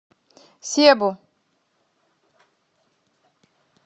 себу